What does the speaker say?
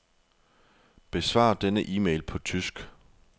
Besvar denne e-mail på tysk.